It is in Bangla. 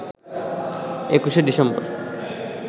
২১ শে ডিসেম্বর